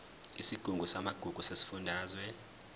isigungu samagugu sesifundazwe